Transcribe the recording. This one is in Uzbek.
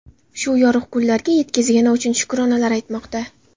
Shu yorug‘ kunlarga yetkazgani uchun shukronalar aytmoqda.